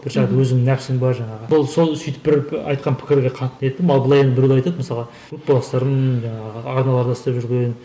бір жағы өзіңнің нәпсің бар жаңағы ол сол бір сол айтқан пікірге қатты не еттім ал былай енді былай біреулер айтады мысалға группаластарым жаңағы арналарда істеп жүрген